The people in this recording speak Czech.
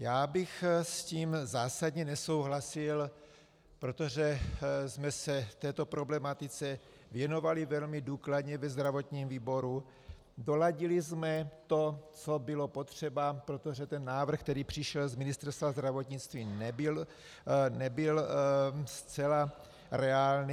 Já bych s tím zásadně nesouhlasil, protože jsme se této problematice věnovali velmi důkladně ve zdravotním výboru, doladili jsme to, co bylo potřeba, protože ten návrh, který přišel z Ministerstva zdravotnictví, nebyl zcela reálný.